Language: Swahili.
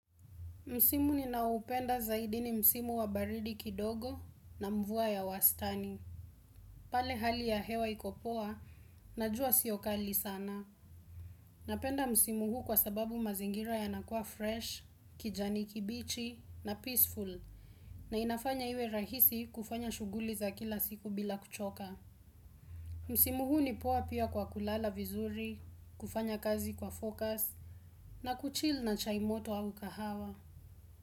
Msimu ninaoupenda zaidi ni msimu wa baridi kidogo na mvua ya wastani. Pale hali ya hewa iko poa, na jua sio kali sana. Napenda msimu huu kwa sababu mazingira yanakuwa fresh, kijani kibichi na peaceful. Na inafanya iwe rahisi kufanya shughuli za kila siku bila kuchoka. Msimu huu ni poa pia kwa kulala vizuri, kufanya kazi kwa focus, na kuchil na chai moto au kahawa.